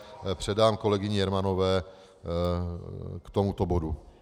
Předám kolegyni Jermanové k tomuto bodu.